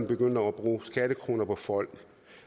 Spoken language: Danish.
begynder at bruge skattekroner på folk